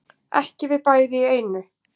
Ekki við bæði í einu